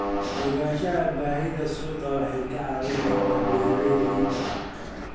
Ogaanshaha baahida suuqa waxay ka caawin kartaa beeralayda iibka.